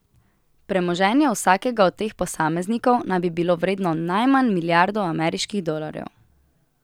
Premoženje vsakega od teh posameznikov naj bi bilo vredno najmanj milijardo ameriških dolarjev.